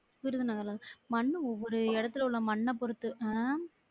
விருதுநகர் ஆஹ் மண் ஒரு இடத்துல உள்ள மண்ண பொருத்து அஹ்